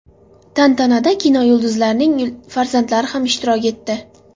Tantanada kinoyulduzlarning farzandlari ham ishtirok etdi.